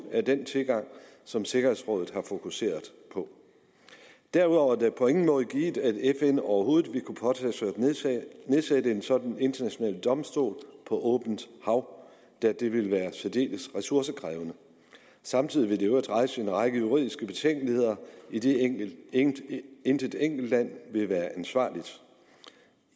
den tilgang som sikkerhedsrådet har fokuseret på derudover er det på ingen måde givet at fn overhovedet ville kunne påtage sig at nedsætte en sådan international domstol på åbent hav da det ville være særdeles ressourcekrævende samtidig vil det i øvrigt rejse en række juridiske betænkeligheder idet intet idet intet enkeltland vil være ansvarligt